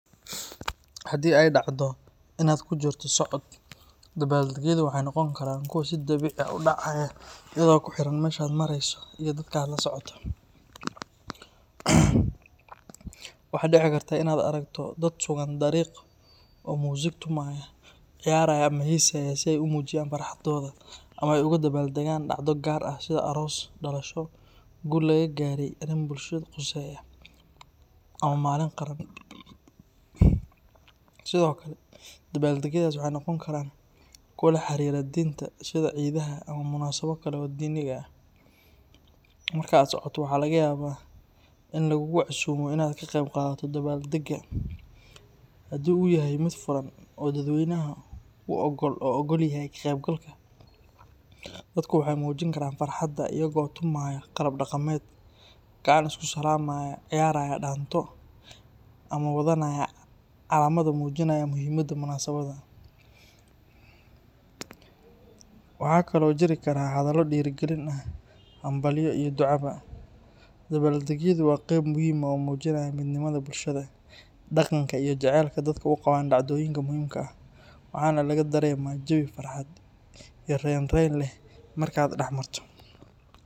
Hadii aay dacdo inaa kujirto socod, waxa dici lahaa kra inaad aragto dad ciyaaraya, sida aroos ama malin qaran, waxeey noqon karaan kuwa laxariira diinta, in lagugu casiumo inaad ka qeyb qaadato, iyago tumayo daanto ama wara calaamad, waxa kale oo jiri kara hadalo, wuxuu mujinaaya midnimada bulshada, waxaa laga dareema jawi farxad leh.